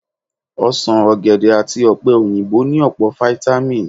Osàn, ọ̀gẹ̀dẹ̀ àti ọ̀pẹ-òyìnbó ní ọ̀pọ̀ fítámì